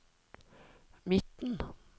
midten